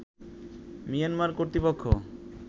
Myanmar কর্তৃপক্ষ